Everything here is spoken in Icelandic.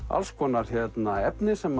alls konar efni sem